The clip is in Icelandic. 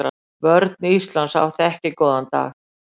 Vörn Íslands átti ekki góðan dag.